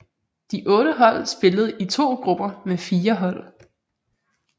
De otte hold spillede i to grupper med fire hold